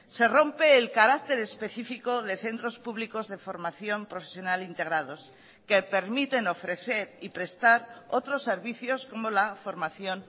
se rompe el carácter específico de centros públicos de formación profesional integrados que permiten ofrecer y prestar otros servicios como la formación